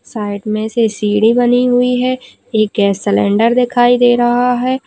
Side में से सीढ़ी बनी हुई है एक गैस सिलेंडर दिखाई दे रहा है।